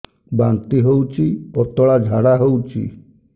ବାନ୍ତି ହଉଚି ପତଳା ଝାଡା ହଉଚି